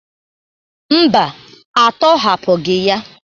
Mba, atọhapụgị ya.